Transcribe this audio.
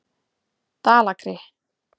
Dalakri